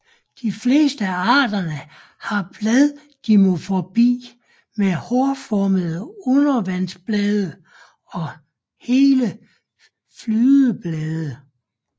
De fleste af arterne har bladdimorfi med hårformede undervandsblade og hele flydeblade